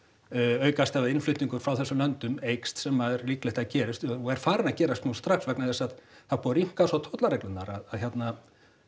aukast ef innflutningur frá þessum löndum eykst sem er líklegt að gerist og er farið að gerast nú strax vegna þess að það er búið að rýmka svo tollareglurnar að hérna